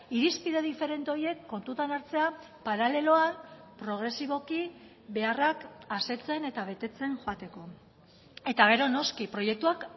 irizpide diferente horiek kontutan hartzea paraleloan progresiboki beharrak asetzen eta betetzen joateko eta gero noski proiektuak